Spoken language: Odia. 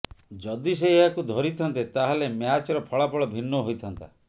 ଯଦି ସେ ଏହାକୁ ଧରିଥାନ୍ତେ ତାହେଲେ ମ୍ୟାଚ୍ର ଫଳାଫଳ ଭିନ୍ନ ହୋଇଥାନ୍ତା